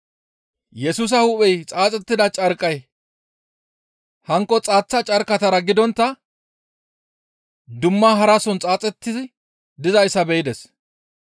Yesusa hu7ey xaaxettida carqqay hankko xaaththa carqqatara gidontta dumma harason xaaxetti dizayssa be7ides.